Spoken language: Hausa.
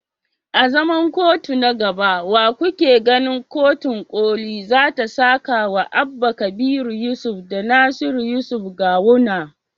A zaman kotu na gaba, wa kuke ganin kotun koli za ta sakawa Abba kabir yusuf da Nasiru yusuf Gawuna.